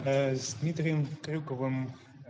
с дмитрием крюковым